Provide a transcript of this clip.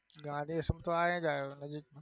ગાંધી આશ્રમ તો અહીં જ આવ્યું નજીક.